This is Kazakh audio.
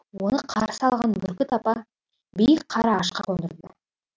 оны қарсы алған бүркіт апа биік қара ағашқа қондырды